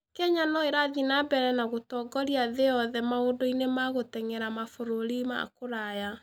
Kenya no ĩrathiĩ na mbere na gũtongoria thĩ yothe maũndũ-inĩ ma gũteng'era mabũrũri ma kũraya.